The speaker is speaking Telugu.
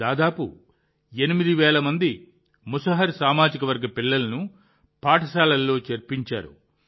దాదాపు 8 వేల మంది ముసహర్ సామాజిక వర్గ పిల్లలను పాఠశాలలో చేర్పించారు